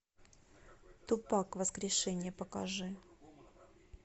тупак воскрешение покажи